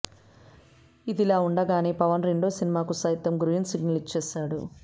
ఇదిలా ఉండగానే పవన్ రెండో సినిమాకు సైతం గ్రీన్ సిగ్నల్ ఇచ్చేశాడు